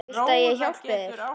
Viltu að ég hjálpi þér?